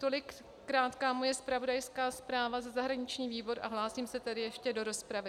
Tolik krátká moje zpravodajská zpráva za zahraniční výbor a hlásím se tedy ještě do rozpravy.